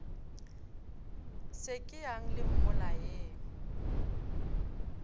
se ke yang le mmolayeng